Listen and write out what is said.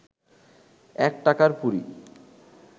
এক টাকার পুরি